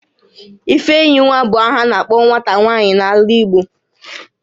Ifeyinwa bu aha a na-akpo nwata nwaanyị n'ala Igbo